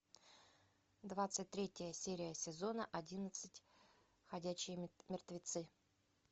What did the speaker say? двадцать третья серия сезона одиннадцать ходячие мертвецы